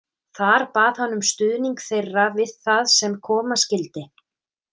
Þar bað hann um stuðning þeirra við það sem koma skyldi.